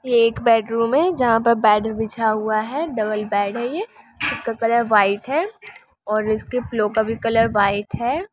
ये एक बैडरूम है जहांँ पर बैड बिछा हुआ है डबल बैड है ये। इसका कलर वाइट है और इसके पिलो का कलर भी वाइट है।